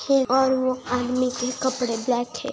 येऔर वो आदमी के कपड़े ब्लैक है।